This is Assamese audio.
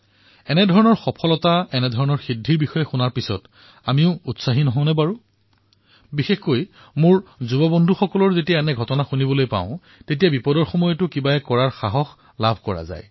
এনেকুৱা সাফল্য সিদ্ধিৰ বিষয়ে শুনি আমি উৎসাহিত নহওঁনে বিশেষকৈ মোৰ যুৱ মিত্ৰসকলে যেতিয়াই এনে ঘটনাৰ বিষয়ে শুনে তেতিয়া কঠিনতাৰ মাজতো কিবা এটা কৰাৰ প্ৰেৰণা পায়